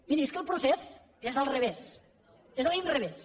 miri és que el procés és al revés és a l’inrevés